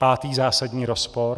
Pátý zásadní rozpor.